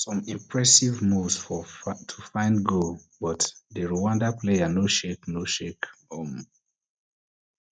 some impressive moves to find goal but di rwanda players no shake no shake um